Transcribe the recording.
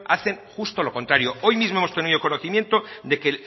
hacen justo lo contrario hoy mismo hemos tenido el conocimiento de que